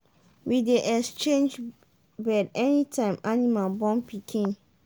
we dey change bed anytime animal born pikin.